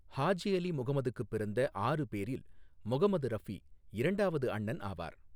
ஹாஜி அலி முகமதுக்குப் பிறந்த ஆறு பேரில் முகமது ரஃபி இரண்டாவது அண்ணன் ஆவார்.